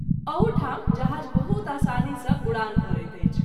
एहू ठाम जहाज़ बहुत आसानी सँ उड़ान भरैत अछि।